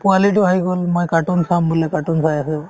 পোৱালিতো আহি গ'ল মই cartoon চাম বোলে cartoon চাই আছে